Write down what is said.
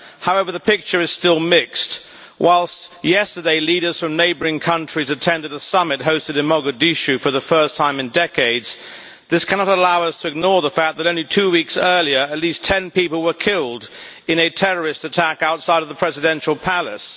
However, the picture is still mixed. Whilst yesterday leaders from neighbouring countries attended a summit hosted in Mogadishu for the first time in decades, this cannot allow us to ignore the fact that, only two weeks earlier, at least ten people were killed in a terrorist attack outside the presidential palace.